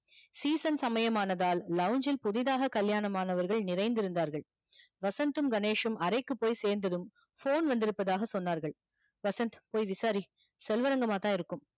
season சமையம் ஆனதால் புதிதாக கல்யாணம் ஆனவர்கள் நிறைந்து இருந்தார்கள் வசந்த் தும் கணேஷ் சும் அறைக்கு போய் சேந்ததும் phone வந்திற்பதாக சொன்னார்கள் வசந்த் போய் விசாரி செல்வரங்கமாதா இருக்கும்